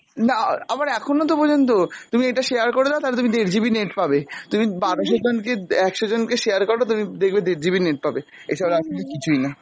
না আবার এখনওতো পর্যন্ত, তুমি এটা share করে দাও তালে তুমি দের GB net পাবে, তুমি বারোশো জনকে, একশ জনকে share করো তুমি দেখবে দের GB net পাবে, এইসব আসলে কিছুইনা।